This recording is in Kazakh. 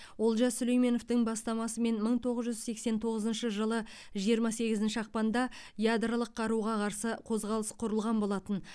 олжас сүлейменовтің бастамасымен мың тоғыз жүз сексен тоғызыншы жылы жиырма сегізінші ақпанда ядролық қаруға қарсы қозғалыс құрылған болатын